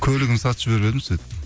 көлігімді сатып жіберіп едім сөйтіп